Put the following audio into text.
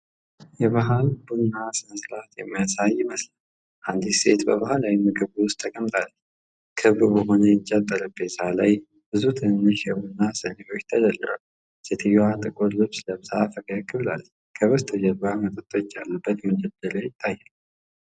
የባህል ቡና ሥነ ሥርዓት የሚያሳይ ይመስላል። አንዲት ሴት በባህላዊ ምግብ ቤት ውስጥ ተቀምጣለች። ክብ በሆነ የእንጨት ጠረጴዛ ላይ ብዙ ትንንሽ የቡና ስኒዎች ተደርድረዋል። ሴትየዋ ጥቁር ልብስ ለብሳ ፈገግ ብላለች። ከበስተጀርባ መጠጦች ያሉበት መደርደሪያ ይታያል።